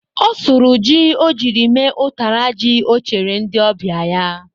Ọ sụrụ ji o ji mee nri ụtara ji o chere ndị ọbịa ya.